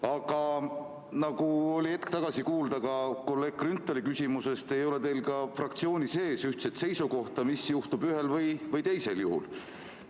Aga nagu oli hetk tagasi kuulda kolleeg Grünthali küsimusest, ei ole teil fraktsioonis ühtset seisukohta, mis ühel või teisel juhul juhtub.